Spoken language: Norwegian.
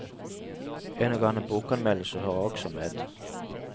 En og annen bokanmeldelse hører også med.